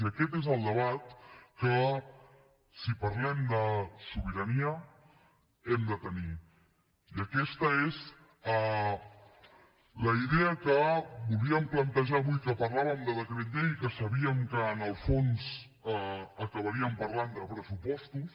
i aquest és el debat que si parlem de sobirania hem de tenir i aquesta és la idea que volíem plantejar avui que parlàvem del decret llei i que sabíem que en el fons acabaríem parlant de pressupostos